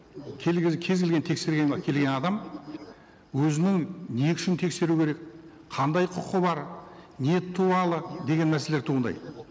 кез келген тексерген келген адам өзінің не үшін тексеру керек қандай құқы бар не туралы деген мәселелер туындайды